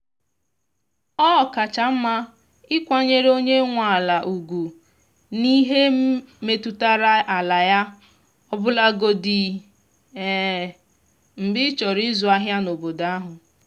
ọ kacha mma ịkwanyere onye nwe ala ugwu n’ihe metụtara ala ya ọbụlagodi um mgbe ịchọrọ izu ahịa n’obodo ahụ.